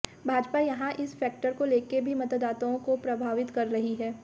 भाजपा यहां इस फेक्टर को लेकर भी मतदाताओं को प्रभावित कर रही है